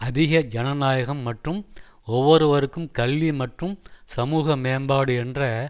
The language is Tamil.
அதிக ஜனநாயகம் மற்றும் ஒவ்வொருவருக்கும் கல்வி மற்றும் சமூக மேம்பாடு என்ற